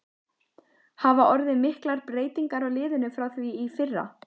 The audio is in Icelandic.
Hafa orðið miklar breytingar á liðinu frá því í fyrra?